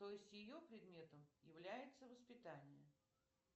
то есть ее предметом является воспитание